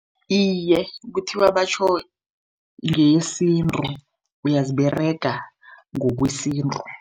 Iye, kuthiwa batjho ngeyesintu, uyaziberega ngokwesintu.